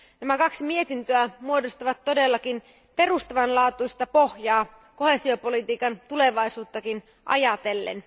Nämä kaksi mietintöä muodostavat todellakin perustavanlaatuisen pohjan koheesiopolitiikan tulevaisuuttakin ajatellen.